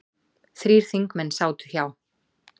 Þrír þingmenn sátu hjá